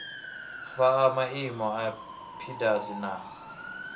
fhaa maimo a pdas na